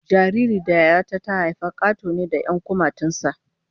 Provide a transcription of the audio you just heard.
Jaririn da Yaya ta ta haifa Kato ne da 'yan kumatun sa